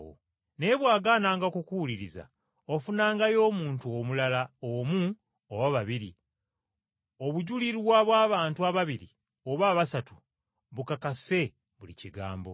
Naye bw’agaananga okukuwuliriza, ofunangayo omuntu omulala omu oba babiri obujulirwa bw’abantu ababiri oba abasatu bukakase buli kigambo.